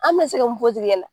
An be na se ka mun fɔ o tigi nɛna?